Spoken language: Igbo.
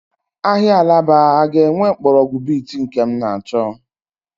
Ahịa Alaba a ga-enwe mgbọrọgwụ beet nke m na-achọ?